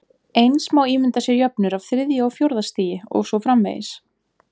Eins má ímynda sér jöfnur af þriðja og fjórða stigi og svo framvegis.